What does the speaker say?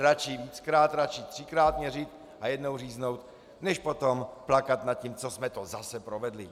Radši víckrát, radši třikrát měřit a jednou říznout, než potom plakat nad tím, co jsme to zase provedli.